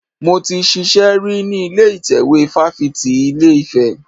Mo ti ṣiṣẹ́ rí ní ilé ìtẹ́wé fáfitì ilé Ifẹ̀.